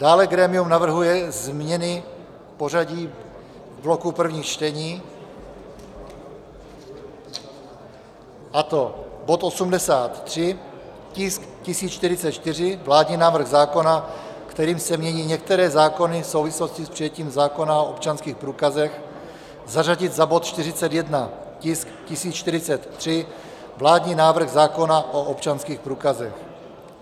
Dále grémium navrhuje změny v pořadí bloku prvních čtení, a to bod 83, tisk 1044, vládní návrh zákona, kterým se mění některé zákony v souvislosti s přijetím zákona o občanských průkazech, zařadit za bod 41, tisk 1043, vládní návrh zákona o občanských průkazech.